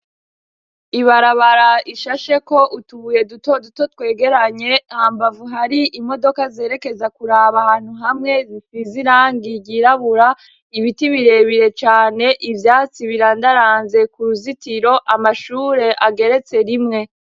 ibarabara ishasheko utubuye duto duto twegeranye hambavu hari imodoka zerekeza kuraba ahantu hamwe zisize irangi ryirabura ibiti birebire cane ivyatsi birandaranze ku ruzitiro amashure ageretse rimwe.